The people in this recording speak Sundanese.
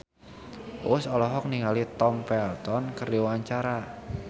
Uus olohok ningali Tom Felton keur diwawancara